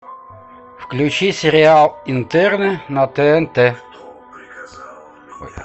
включи сериал интерны на тнт